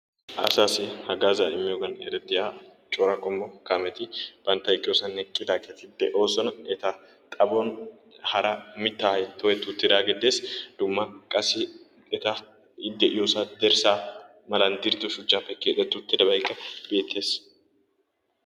Asaassi hagaazzaa immiyogan erettiya cora qommo kaametti bantta eqqiyosan eqqidaageeti de'oosona. eta xaphon hara mitaay toketti uttidaagee de'es hara dumma qassi eta i de'iyoosan dirsaa malan diriddo dirsaappe keexeti utidabaykka beetees.